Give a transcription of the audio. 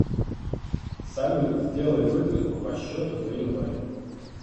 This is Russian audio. салют сделай выписку по счету за январь